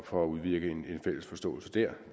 for at udvirke en fælles forståelse dér